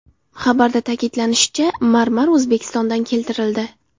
Xabarda ta’kidlanishicha, marmar O‘zbekistondan keltirildi.